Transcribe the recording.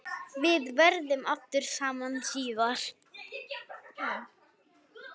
Við verðum aftur saman síðar.